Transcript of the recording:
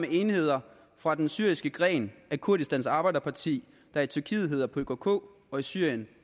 enheder fra den syriske gren af kurdistans arbejderparti der i tyrkiet hedder pkk og i syrien